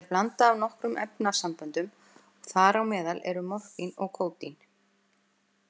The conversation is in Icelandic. Það er blanda af nokkrum efnasamböndum og þar á meðal eru morfín og kódín.